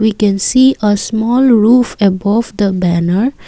we can see a small roof above of the banner.